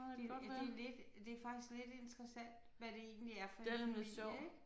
Det ja det lidt det faktisk lidt interessant hvad det egentlig er for en familie ik